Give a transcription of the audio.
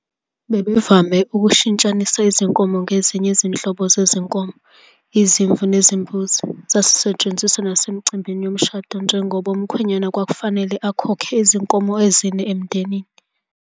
Babevame ukushintshanisa izinkomo ngezinye izinhlobo zezinkomo, izimvu nezimbuzi. Zasetshenziswa nasemicimbini yomshado njengoba umkhwenyana kwakufanele akhokhe izinkomo ezine emndenini kamakoti.